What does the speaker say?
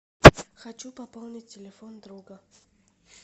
хочу пополнить телефон друга